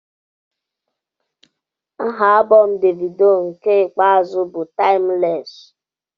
Aha alụbọm davido nke ikpeazụ bụ timulesi